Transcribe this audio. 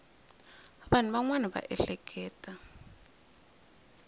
vanhu van wana va ehleketa